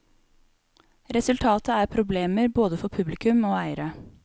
Resultatet er problemer både for publikum og eiere.